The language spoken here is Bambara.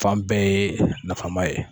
Fan bɛɛ ye nafama ye